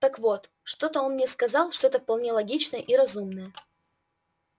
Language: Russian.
так вот он что-то мне сказал что-то вполне логичное и разумное